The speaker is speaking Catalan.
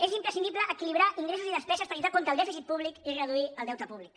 és imprescindible equilibrar ingressos i despeses per lluitar contra el dèficit públic i reduir el deute públic